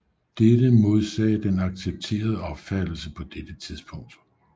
Dette modsagde den accepterede opfattelse på dette tidspunkt